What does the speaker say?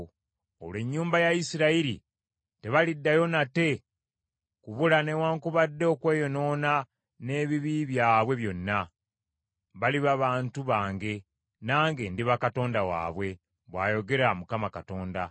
Olwo ennyumba ya Isirayiri tebaliddayo nate kubula newaakubadde okweyonoona n’ebibi byabwe byonna. Baliba bantu bange, nange ndiba Katonda waabwe, bw’ayogera Mukama Katonda.’ ”